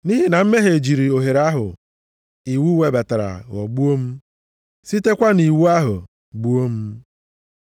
Nʼihi na mmehie jiri ohere ahụ iwu webatara ghọgbuo m, sitekwa nʼiwu ahụ gbuo m.